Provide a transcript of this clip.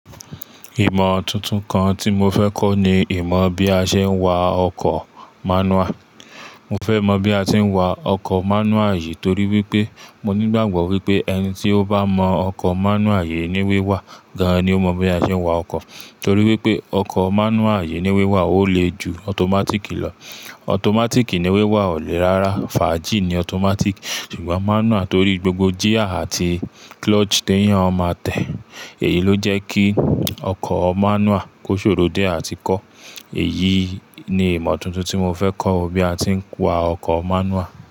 Ìmọ̀ tuntun kan tí mo fẹ́ kọ́ ni ìmọ̀ bí a ṣe ń wa ọkọ̀ manual. Mo fẹ́ mọ̀ bí a tí ń wa ọkọ̀ manual yìí torí wípé mo nígbàgbọ́ wípé ẹni tí ó bá mọ ọkọ̀ manual yìí ní wíwà gan-an ni ó mọ bí a ṣe ń wa ọkọ̀. Torí wípé ọkọ̀ manual yìí ní wíwà ò lé ju automatic lọ. Automatic ní wíwà ò le rárá. Faaji ni automatic. Ṣùgbọ́n manual torí gbogbo gear àti clutch téyàn máa tẹ. Èyí ló jẹ́ kí ọkọ̀ manual kó ṣòro dié àti kọ́. Èyí ni ìmọ̀ tuntun tí mo fẹ́ kọ́, bí a tí ń wa ọkọ̀ manual.